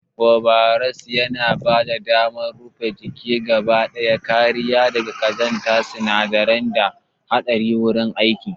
Overalls yana bada damar rufe jiki gaba daya, kariya daga ƙazanta, sinadarai, da haɗarin wurin aiki.